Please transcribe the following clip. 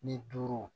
Ni duuru